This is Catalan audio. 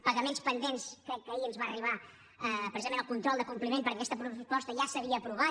pagaments pendents crec que ahir ens va arribar precisament el control de compliment perquè aquesta proposta ja s’havia aprovat